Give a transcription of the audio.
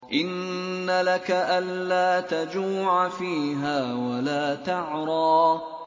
إِنَّ لَكَ أَلَّا تَجُوعَ فِيهَا وَلَا تَعْرَىٰ